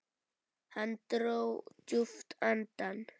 Hann dró djúpt andann.